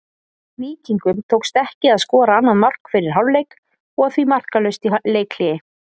Víkingum tókst ekki að skora annað mark fyrir hálfleik og því markalaust í leikhléi.